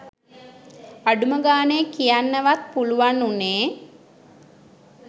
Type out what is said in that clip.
අඩුම ගනේ කියන්න වත් පුලුවන් උනේ